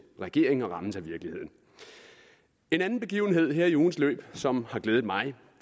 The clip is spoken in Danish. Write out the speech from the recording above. regering og rammes af virkeligheden en anden begivenhed her i ugens løb som har glædet mig